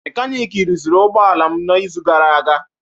Mekaniki rụziri ụgbọ ala m n'izu gara aga.